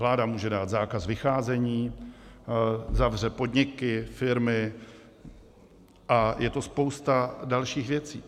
Vláda může dát zákaz vycházení, zavře podniky, firmy a je to spousta dalších věcí.